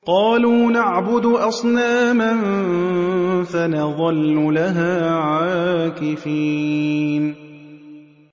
قَالُوا نَعْبُدُ أَصْنَامًا فَنَظَلُّ لَهَا عَاكِفِينَ